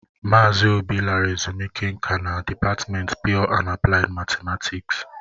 Mazị obi lara ezumike nká na dịpatmenti pịyọ na apụlaid matematiksi.